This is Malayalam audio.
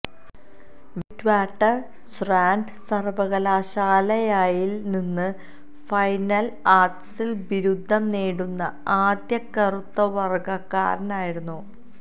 വിറ്റ്വാട്ടർ സ്രാന്റ് സർവകലാശാലയിൽ നിന്ന് ഫൈൻ ആർട്സിൽ ബിരുദം നേടുന്ന ആദ്യ കറുത്ത വർഗ്ഗക്കാരനായിരുന്നു